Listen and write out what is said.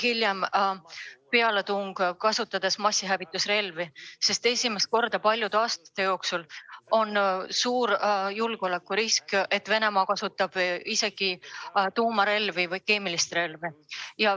Hiljem võib saada sellest pealetung, kus kasutatakse ka massihävitusrelvi, sest esimest korda paljude aastate jooksul on suur risk, et Venemaa kasutab tuumarelva või keemilist relva.